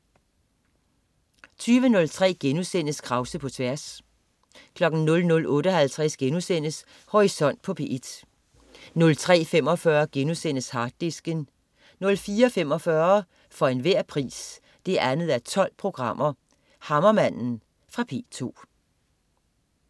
20.03 Krause på tværs* 00.58 Horisont på P1* 03.45 Harddisken* 04.45 For enhver pris 2:12. Hammermanden. Fra P2